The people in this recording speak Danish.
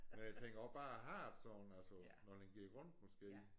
Men jeg tænker også bare at have det sådan altså når den gik rundt måske